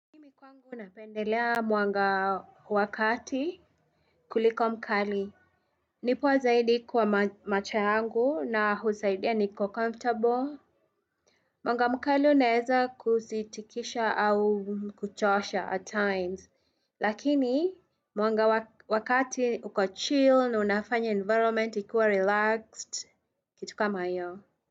Unapendelea mwanga wa kati kuliko mkali. Ni poa zaidi kwa macho yangu na husaidia niko comfortable. Mwanga mkali unaeza kuzitikisha au kuchosha at times. Lakini mwanga wa kati uko chill na unafanya environment ikuwe relaxed kitu kama hiyo.